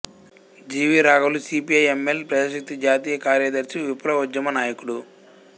G V రాఘవులు CPI ML Prajashakti జాతీయ కార్యదర్శి విప్లవోద్యమ నాయకుడు